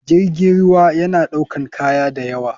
Jirgin ruwa yana ɗaukan kaya dayawa.